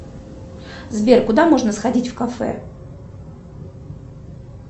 сбер куда можно сходить в кафе